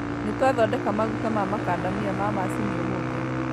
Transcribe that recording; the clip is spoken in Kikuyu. Nĩtwathondeka maguta ma makandamia ma macini ũmũthĩ